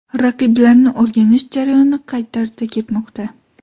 Raqiblarni o‘rganish jarayoni qay tarzda ketmoqda?